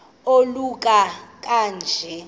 oluka ka njl